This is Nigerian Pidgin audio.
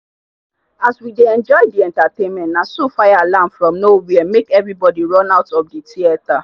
as we dey enjoy the entertainment na so fire alarm from no where make everybody run out of the theater.